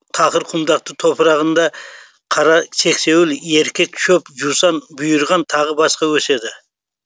тақыр құмдақты топырағында қара сексеуіл еркек шөп жусан бұйырғын тағы басқа өседі